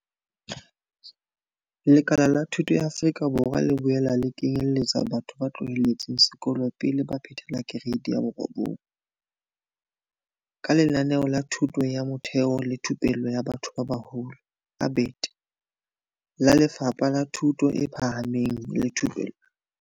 Lekala la thuto la Afrika Borwa le boela le kenyeletsa batho ba tloheletseng sekolo pele ba phethela Kereite ya 9, ka Lenaneo la Thuto ya Motheo le Thupello ya Batho ba Baholo ABET la Lefapha la Thuto e Phahameng le Thupello.